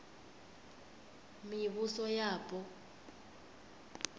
mivhusoyapo